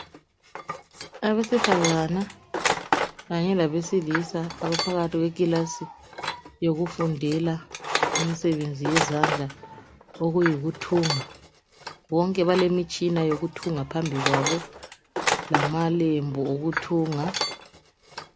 Abesifazane labesilisa baphakathi kweclass eyokufundela imisebenzi yezandla okuyikuthunga bonke bakemtshina yokuthunga phambi kwabo lamalembu okuthunga